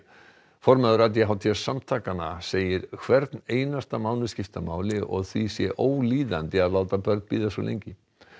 formaður a d h d samtakanna segir hvern einasta mánuð skipta máli og því sé ólíðandi að láta börn bíða svo lengi